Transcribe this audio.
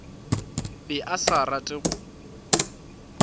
be a sa rate go